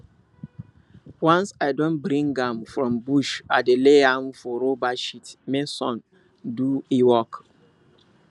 once i don bring am from bush i dey lay am for rubber sheet make sun do e work